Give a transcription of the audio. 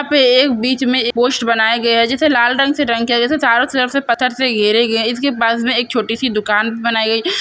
यहां पर एक बीच में पोस्ट बनाया गया है। जिसे लाल रंग से रंग किया गया है। जिसे चारों तरफ से पत्थर से घेरे गए हैं। इसके पास में एक छोटी सी दुकान बनाई गई है।